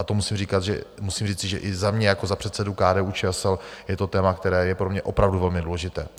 A to musím říci, že i za mě jako za předsedu KDU-ČSL je to téma, které je pro mě opravdu velmi důležité.